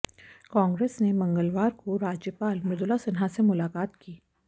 कांग्रेस ने मंगलवार को राज्यपाल मृदुला सिन्हा से मुलाकात की